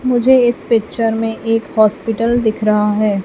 मुझे इस पिक्चर में एक हॉस्पिटल दिख रहा है।